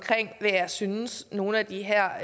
hvad jeg synes nogle af de her